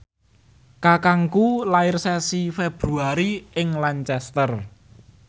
kakangku lair sasi Februari ing Lancaster